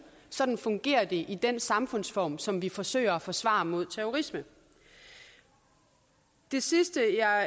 sådan fungerer det i den samfundsform som vi forsøger at forsvare mod terrorisme det sidste jeg